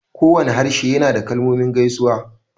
Kowane harshe yana da kalmomin gaisuwa